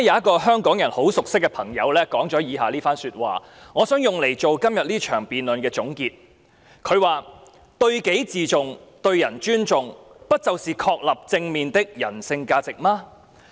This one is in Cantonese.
主席，昨天有一位香港人很熟悉的朋友說了以下一番說話，我希望以之為今天這項議案辯論作出總結："對己自重，對人尊重，不就是確立正面的人性價值嗎？